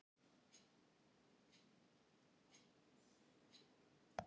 Ég keypti nýjan hvítan flygil.